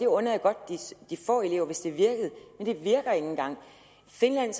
under jeg godt de få elever hvis det virker men det virker ikke engang finland